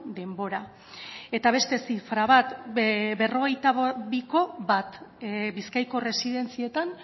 denbora eta beste zifra bat berrogeita biko bat bizkaiko erresidentzietan